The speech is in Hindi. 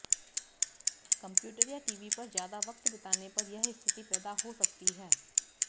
कंप्यूटर या टीवी पर ज्यादा वक्त बिताने पर यह स्थिती पैदा हो सकती है